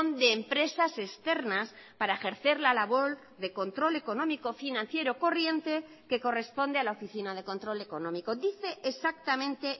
de empresas externas para ejercer la labor de control económico financiero corriente que corresponde a la oficina de control económico dice exactamente